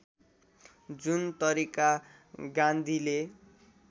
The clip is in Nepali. जुन तरिका गान्धीले